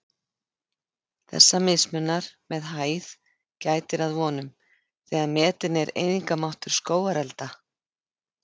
Þessa mismunar með hæð gætir að vonum, þegar metinn er eyðingarmáttur skógarelda.